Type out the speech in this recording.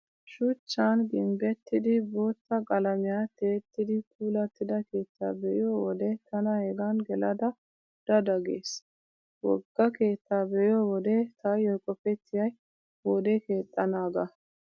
Shuchchan gimbbettidi bootta qalamiyaa tiyettidi puulattida keettaa be'iyo wode tana hegan gelada da da gees. Wogga keettaa be'iyo wode taayyo qopettiyay wode keexxanaagaa.